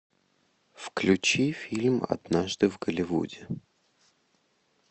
включи фильм однажды в голливуде